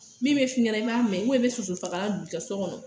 Min bɛ f'i ɲɛna i m'a mɛn i bɛ soso fagalan mɛnɛ.